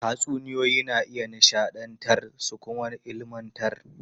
Tatsuniyoyi na iya nishadantar su kuma ilmantar.